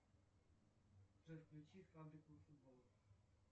джой включи фабрику футбола